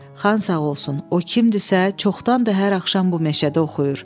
Xan sağ olsun, o kimdisə, çoxdan da hər axşam bu meşədə oxuyur.